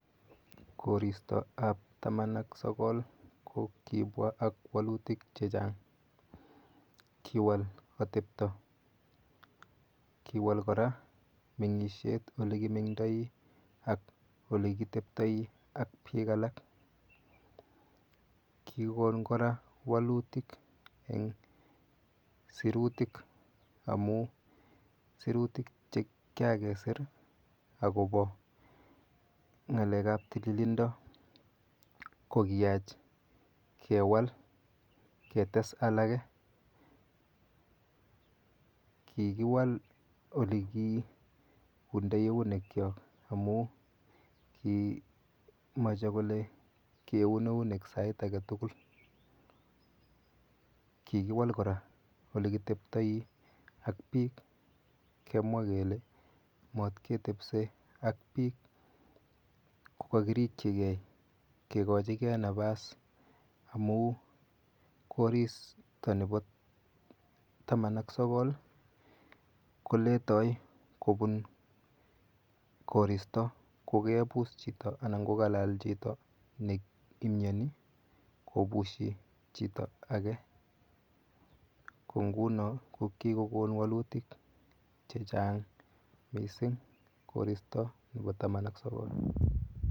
Koristoap taman ak sokol ko kipwa ak wolutik chechang kiwal atepto kiwal kora mengishet ole kimengtoi ak olekiteptoi ak piik alak kikon kora walutik eng' sirutik amu serutik chekikakeser akopo ng'alek ap tililindo kikoach kewal ketes alake kikiwal oleki kiundoi keunek cho amu ki mache kole keun eunek sait ake tukul kikiwal kora olekiteptoi ak piik kemwa kele matketepise ak piik kokakirikchikei kekochike nafas amu koristo nepo taman ak sokol koletoi kopun koristo kokepus chito anan kokalal chito neimyoni kopushi chito ake ko nguno ko kikokon walutik chechang mising koristo nepo taman ak sokol.